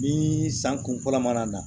Ni san kun fɔlɔ mana na